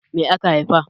Me aka haifa?